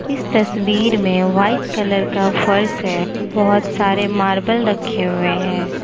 इस तस्वीर में व्हाइट कलर का फर्श है बहोत सारे मार्बल रखे हुए हैं।